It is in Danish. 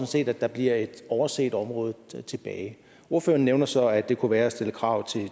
set at der bliver et overset område tilbage ordføreren nævner så at det kunne være at stille krav